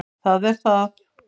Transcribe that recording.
Það er það.